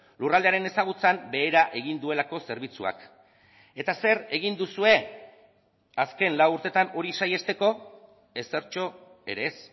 lurraldearen ezagutzan behera egin duelako zerbitzuak eta zer egin duzue azken lau urtetan hori saihesteko ezertxo ere ez